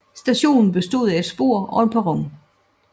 Stationen bestod af et spor og en perron